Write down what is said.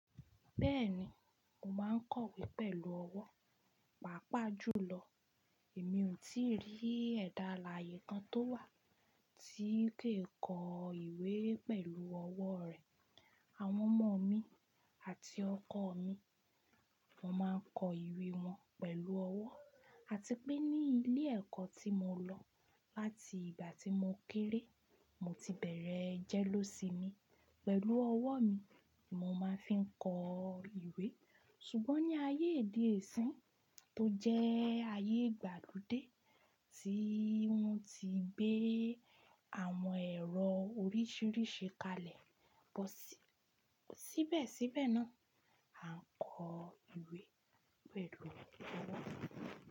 Bẹ́ẹ̀ni, mo máa ń kọ wé pẹ̀lú ọwọ́, pàápàá jùlọ mi ò tíì rí ẹ̀dà alààyè kan tó wà tí kì í kọ ìwé pẹ̀lú ọwọ́ rẹ̀. Àwọn ọmọ mi àti ọkọ mi, won máa ń kọ ìwé wọn pẹ̀lú ọwọ́, àti pé ní ilé ẹ̀kọ́ tí mo lọ láti ìgbà tí mo kéré, mo ti bẹ̀rẹ̀ ẹ́ jẹ́le ósimi, pẹ̀lú ọwọ́ mi mo máa fi ń kọ ìwé. Ṣùgbọ́n ní ayé ede sin tó jẹ́ ayé ìgbàlódé tí wọ́n ti gbé àwọn ẹ̀rọ oríṣìíríṣìí kalẹ̀, bọ́ síbẹ̀síbẹ̀ náà, a ń kọ ìwé pẹ̀lú ọwọ́.